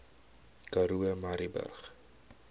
karoo murrayburg